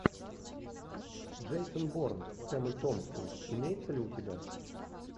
джейсон борн с эммой томпсон имеется ли у тебя